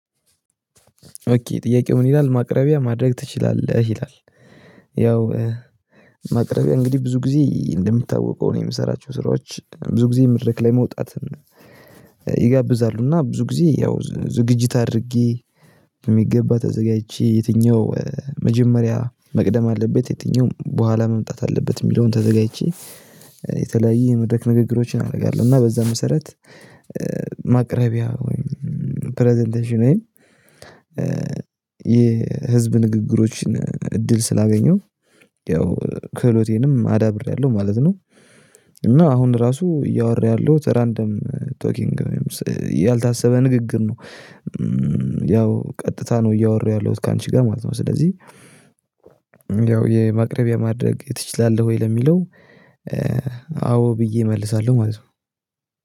ኦኬ ጥያቄው ምን ይላል ማቅረቢያ ማድረግ ትችላለህ ይላል? ያው ማቅረቢያ እንግዲህ ብዙ ጊዜ እንደምታውቀው ነው የምሰራቸው ስራዎች ብዙ ጊዜ መድረክ ላይ መውጣት ይጋብዛሉ እና ብዙ ጊዜ ያው ዝግጅት አድርጌ በሚገባ ተዘጋጅቼ የትኛው መጀመሪያ መቅደም አለበት የትኛውም በኋላ መምጣት አለበት የሚለውን ተዘጋጅቼ የተለያየ የመድረክ ንግግሮችን አደርጋለሁ። እና በዛ መሰረት ማቅረቢያ ወይም ፕረዘንቴሽን ወይም የህዝብ ንግግሮችን እድል ስላገኘሁ ያው ክህሎቴንም አዳብሬያለሁ ማለት ነው። እና አሁን ራሱ እያወራ ያለውት ራንደም ቶኪንግ ንግግር ነው። ያው ቀጥታ ነው እያወራሁ ያለሁት ካንቺ ጋር ማለት ነው። ስለዚህ የማቅረቢያ ማድረግ ትችላለህ ወይ ለሚለው አዎ ብዬ እመልሳለሁ ማለት ነው